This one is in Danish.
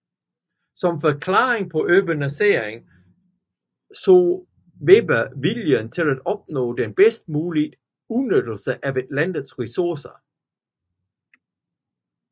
Som forklaring på urbaniseringen så Weber viljen til at opnå den bedst mulige udnyttelse af et lands ressourcer